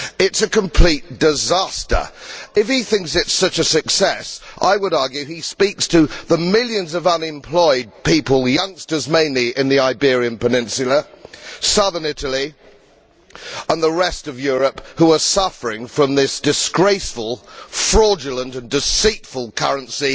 It is a complete disaster. If he thinks it is such a success, I would argue that he speak to the millions of unemployed people, youngsters mainly in the Iberian Peninsula, southern Italy and the rest of Europe, who are suffering from this disgraceful, fraudulent and deceitful currency